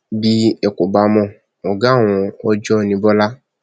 bí ẹ kò bá mọ ọgá àwọn ọjọ ní bọlá